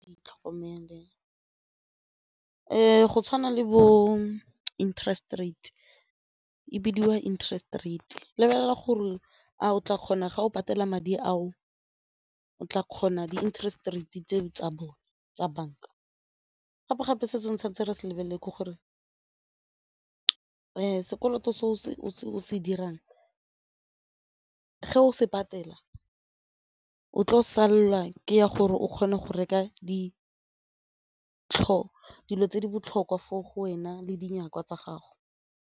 Di tlhokomele go tshwana le bo-interest rate e bidiwa interest rate, lebelela gore a o tla kgona ga o patela madi ao o tla kgona di-interest rate tse tsa bone tsa banka. Gape-gape se sengwe santse re se lebelele ke gore sekoloto se o se dirang ge o se patela o tlo sala ke ya gore o kgone go reka di dilo tse di botlhokwa fo go wena le dinyakwa tsa gago.